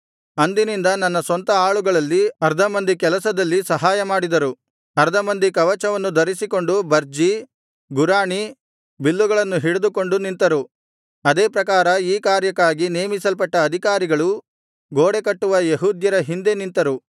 ಅಂದಿನಿಂದ ನನ್ನ ಸ್ವಂತ ಆಳುಗಳಲ್ಲಿ ಅರ್ಧ ಮಂದಿ ಕೆಲಸದಲ್ಲಿ ಸಹಾಯಮಾಡಿದರು ಅರ್ಧ ಮಂದಿ ಕವಚವನ್ನು ಧರಿಸಿಕೊಂಡು ಬರ್ಜಿ ಗುರಾಣಿ ಬಿಲ್ಲುಗಳನ್ನು ಹಿಡಿದುಕೊಂಡು ನಿಂತರು ಅದೇ ಪ್ರಕಾರ ಈ ಕಾರ್ಯಕ್ಕಾಗಿ ನೇಮಿಸಲ್ಪಟ್ಟ ಅಧಿಕಾರಿಗಳು ಗೋಡೆಕಟ್ಟುವ ಯೆಹೂದ್ಯರ ಹಿಂದೆ ನಿಂತರು